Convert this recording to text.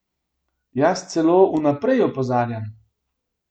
Jaz celo vnaprej opozarjam.